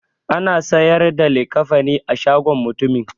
Ana siyar da likafani a shagon mutumin.